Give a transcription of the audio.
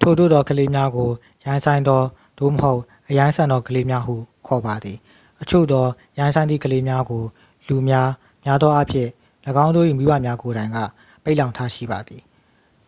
"ထိုသို့သောကလေးများကို "ရိုင်းစိုင်းသော" သို့မဟုတ် အရိုင်းဆန်သောကလေးများဟု ခေါ်ပါသည်။ အချို့သော ရိုင်းစိုင်းသည့်ကလေးများကို လူများ များသောအားဖြင့် ၎င်းတို့၏မိဘများကိုယ်တိုင် က ပိတ်လှောင်ထားရှိပါသည်၊